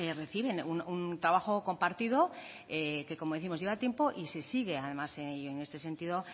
reciben un trabajo compartido que como décimos lleva tiempo y se sigue además en este sentido